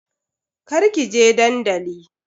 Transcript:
Kar kije dandali.